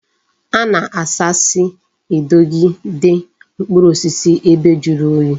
A na-asi si edogide mkpuru osisi ebe juru oyi